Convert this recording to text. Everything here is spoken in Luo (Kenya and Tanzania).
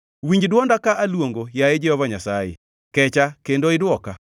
Winj dwonda ka aluongo, yaye Jehova Nyasaye; kecha kendo idwoka.